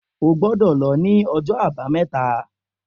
O gbọdọ̀ lọ ni ọjọ abameta